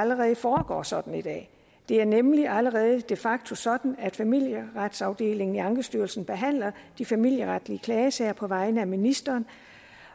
allerede foregår sådan i dag det er nemlig allerede de facto sådan at familieretsafdelingen i ankestyrelsen behandler de familieretlige klagesager på vegne af ministeren